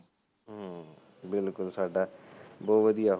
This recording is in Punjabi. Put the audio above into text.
ਹੁ ਬਿਲਕੁਲ ਸਾਡਾ ਬਹੁਤ ਵਧੀਆਂ